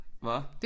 Hvad?